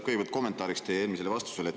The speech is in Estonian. Kõigepealt kommenteerin teie eelmist vastust.